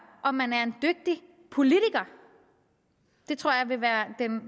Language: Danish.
om man er en dygtig politiker det tror jeg vil være den